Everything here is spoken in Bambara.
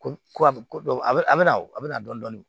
Ko a bɛ ko a bɛ a bɛ na a bɛ na dɔɔnin